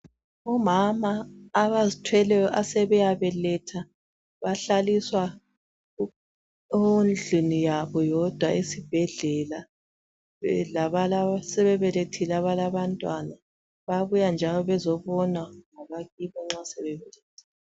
Omama abazithweleyo asebeyabeletha bahlaliswa endlini yabo bodwa esibhedlela. Lalabo asebebelethile abalabantwana bayabuya njalo bezobonwa ngabakibo nxa asebebelethile.